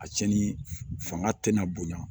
A cɛnni fanga tɛna bonya